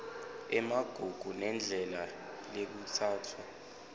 emagugu nendlela lekutsatfwa